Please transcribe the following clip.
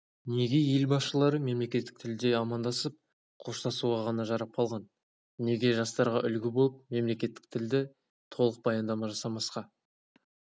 неге ел басшылары мемлекеттік тілде амандасып қоштасуға ғана жарап қалған неге жастарға үлгі болып мемлекеттік тілде толық баяндама жасамасқа